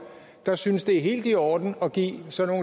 der synes det er helt i orden at give sådan